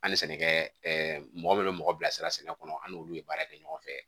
An ni sɛnɛkɛ mɔgɔ minnu bɛ mɔgɔ bila sira sɛnɛ kɔnɔ an n'olu ye baara kɛ ɲɔgɔn fɛ